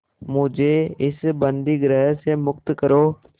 मुझे इस बंदीगृह से मुक्त करो